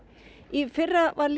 í fyrra var